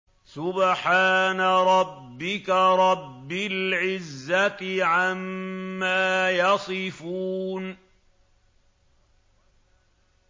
سُبْحَانَ رَبِّكَ رَبِّ الْعِزَّةِ عَمَّا يَصِفُونَ